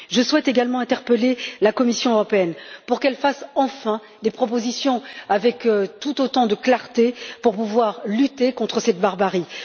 Je souhaite également interpeller la Commission européenne pour qu'elle fasse enfin des propositions avec tout autant de clarté de sorte que nous puissions lutter contre cette barbarie.